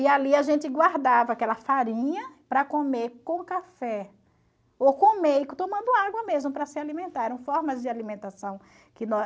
E ali a gente guardava aquela farinha para comer com café, ou comer tomando água mesmo para se alimentar. Eram formas de alimentação que